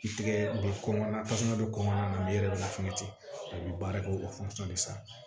I tigɛ bɛ kɔnkɔ na tasuma bɛ kɔngɔ yɛrɛ lafiɲɛ ten a bɛ baara kɛ o de fɛ